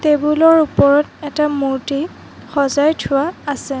Table ৰ ওপৰত এটা মূৰ্ত্তি সজাই থোৱা আছে।